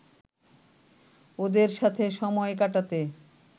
ওদের সাথে সময় কাটাতে